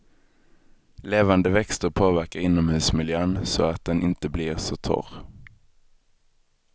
Levande växter påverkar inomhusmiljön så att den inte blir så torr.